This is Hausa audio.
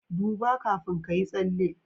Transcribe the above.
duba kafin kayi tsalle